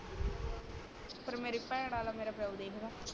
ਪਰ ਮੇਰੀ ਭੈਣ ਵਾਲਾ ਪਿਓ ਦੇਖਦਾ